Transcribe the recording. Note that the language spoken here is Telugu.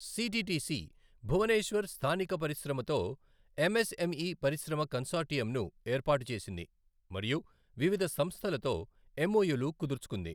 సిటిటిసి, భువనేశ్వర్ స్థానిక పరిశ్రమతో ఎంఎస్ఎంఈ పరిశ్రమ కన్సార్టియంను ఏర్పాటు చేసింది మరియు వివిధ సంస్థలతో ఎంఓయులు కుదుర్చుకుంది.